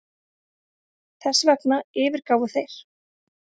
Þessvegna yfirgáfu þeir